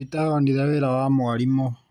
Peter onire wĩra wa mwarimũ